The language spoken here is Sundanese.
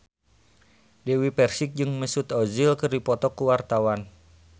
Dewi Persik jeung Mesut Ozil keur dipoto ku wartawan